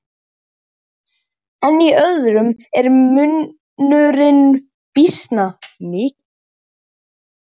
En í öðrum er munurinn býsna mikill.